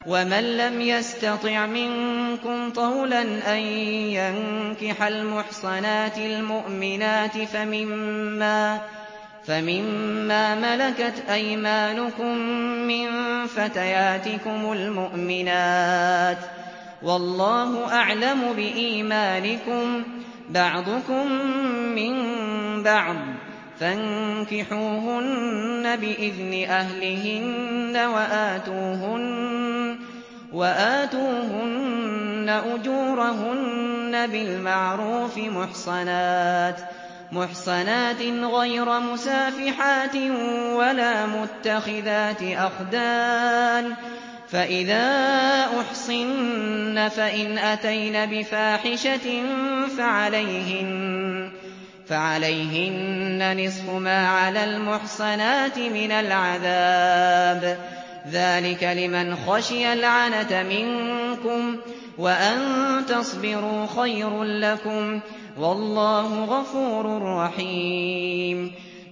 وَمَن لَّمْ يَسْتَطِعْ مِنكُمْ طَوْلًا أَن يَنكِحَ الْمُحْصَنَاتِ الْمُؤْمِنَاتِ فَمِن مَّا مَلَكَتْ أَيْمَانُكُم مِّن فَتَيَاتِكُمُ الْمُؤْمِنَاتِ ۚ وَاللَّهُ أَعْلَمُ بِإِيمَانِكُم ۚ بَعْضُكُم مِّن بَعْضٍ ۚ فَانكِحُوهُنَّ بِإِذْنِ أَهْلِهِنَّ وَآتُوهُنَّ أُجُورَهُنَّ بِالْمَعْرُوفِ مُحْصَنَاتٍ غَيْرَ مُسَافِحَاتٍ وَلَا مُتَّخِذَاتِ أَخْدَانٍ ۚ فَإِذَا أُحْصِنَّ فَإِنْ أَتَيْنَ بِفَاحِشَةٍ فَعَلَيْهِنَّ نِصْفُ مَا عَلَى الْمُحْصَنَاتِ مِنَ الْعَذَابِ ۚ ذَٰلِكَ لِمَنْ خَشِيَ الْعَنَتَ مِنكُمْ ۚ وَأَن تَصْبِرُوا خَيْرٌ لَّكُمْ ۗ وَاللَّهُ غَفُورٌ رَّحِيمٌ